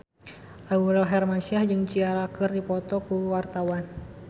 Aurel Hermansyah jeung Ciara keur dipoto ku wartawan